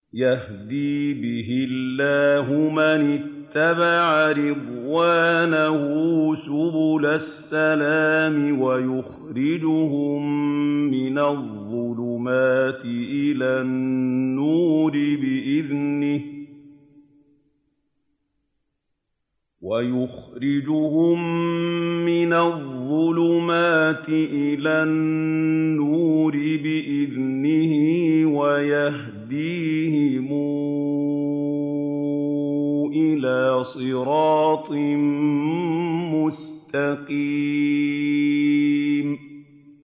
يَهْدِي بِهِ اللَّهُ مَنِ اتَّبَعَ رِضْوَانَهُ سُبُلَ السَّلَامِ وَيُخْرِجُهُم مِّنَ الظُّلُمَاتِ إِلَى النُّورِ بِإِذْنِهِ وَيَهْدِيهِمْ إِلَىٰ صِرَاطٍ مُّسْتَقِيمٍ